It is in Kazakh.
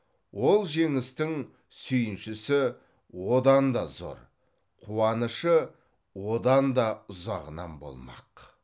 ол жеңістің сүйіншісі одан да зор қуанышы одан да ұзағынан болмақ